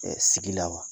sigi la wa